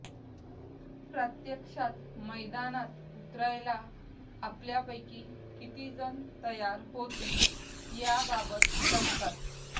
प्रत्यक्षात मैदानात उतरायला आपल्यापैकी कितीजण तयार होतील याबाबत शंकाच